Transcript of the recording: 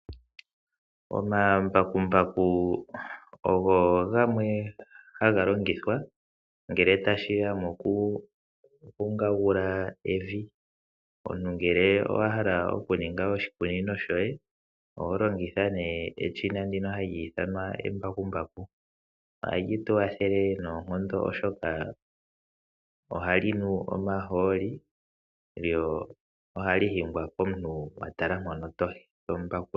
Omambakumbaku ogo gamwe haga longithwa ngele tashiya mokuvungagula evi. Omuntu ngele owa hala oku ninga oshikunino shoye oho longitha ne eshina ndino hali ithanwa embakumbaku. Ohali tu wathele oshoka ohali nu omahooli lyo ohali hingwa komuntu atala mpono tombakula.